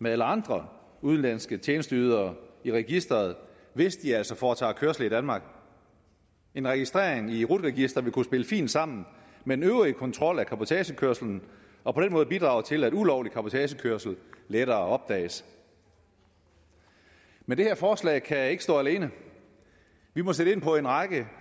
med alle andre udenlandske tjenesteydere i registeret hvis de altså foretager kørsel i danmark en registrering i rut registret vil kunne spille fint sammen med den øvrige kontrol af cabotagekørsel og på den måde bidrage til at ulovlig cabotagekørsel lettere opdages men det her forslag kan ikke stå alene vi må sætte ind på en række